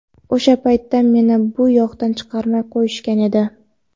O‘sha paytda meni bu yoqdan chiqarmay qo‘yishgan edi.